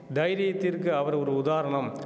தைரியத்திற்கு அவர் ஒரு உதாரணம்